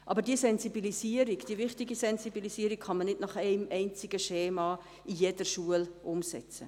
Aber diese Sensibilisierung, diese wichtige Sensibilisierung kann man nicht nach einem einzigen Schema in jeder Schule umsetzen.